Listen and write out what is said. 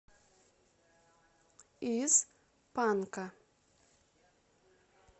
из панка